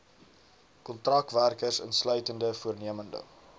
kontrakwerkers insluitende voornemende